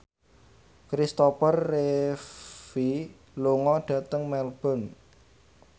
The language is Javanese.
Kristopher Reeve lunga dhateng Melbourne